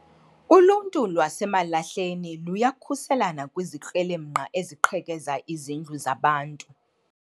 Uluntu lwaseMalahleni luyakhuselana kwizikrelemnqa eziqhekeza izindlu zabantu